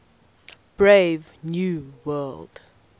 brave new world